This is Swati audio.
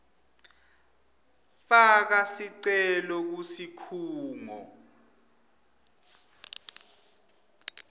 faka sicelo kusikhungo